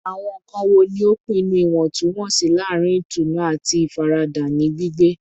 Awọn nkan wo ni o pinnu iwọntunwọnsi laarin itunu ati ifarada ni gbigbe?